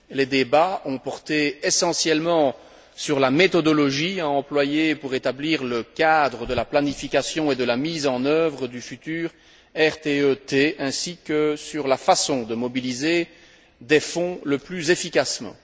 Les débats ont porté essentiellement sur la méthodologie à employer pour rétablir le cadre de la planification et de la mise en œuvre du futur RTE T ainsi que sur la façon de mobiliser des fonds le plus efficacement.